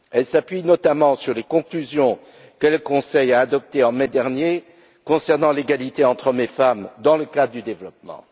Elle s'appuie notamment sur les conclusions que le Conseil a adoptées en mai dernier concernant l'égalité entre hommes et femmes dans le cadre du développement.